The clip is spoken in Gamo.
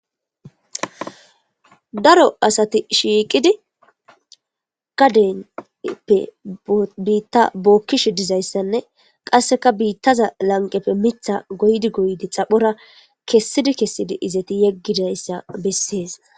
daro asati shiiqidi gadeppe biitta bookkish dizayssanne qasseka biittaza lanqeppe mitha goydi goydi xaphora kessidi kessidi izeti yeggidayssa bessees